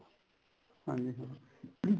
ਹਾਂਜੀ ਹਾਂਜੀ